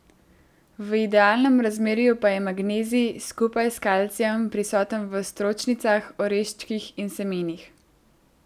V idealnem razmerju pa je magnezij, skupaj s kalcijem, prisoten v stročnicah, oreščkih in semenih.